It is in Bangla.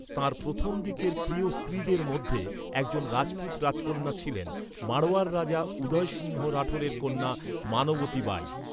তাঁর প্রথম দিকের প্রিয় স্ত্রীদের মধ্যে একজন রাজপুত রাজকন্যা ছিলেন, মাড়োয়ারের রাজা উদয় সিংহ রাঠোরের কন্যা মানবতী বাই।